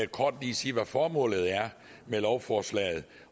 kort lige sige hvad formålet med lovforslaget er